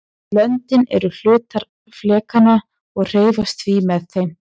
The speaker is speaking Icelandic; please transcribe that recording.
löndin eru hlutar flekanna og hreyfast því með þeim